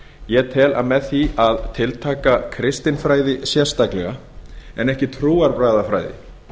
ég tel að með því að tiltaka kristinfræði sérstaklega en ekki trúarbragðafræði